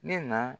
Ne na